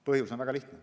Põhjus on väga lihtne.